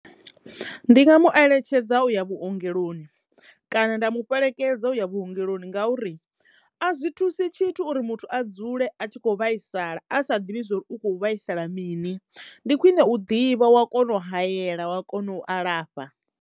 Ndi nga mu eletshedza u ya vhuongeloni kana nda mu fhelekedza u ya vhuongeloni ngauri a zwi thusi tshithu uri muthu a dzule a tshi kho vhaisala a sa ḓivhi zwo uri ukho vhaisala mini, ndi khwine u ḓivha wa kono u hayela wa kono u alafha.